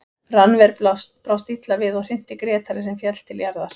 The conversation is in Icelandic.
Rannver brást illa við og hrinti Grétari sem féll til jarðar.